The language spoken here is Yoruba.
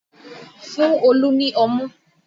Fún Olu ni ọmú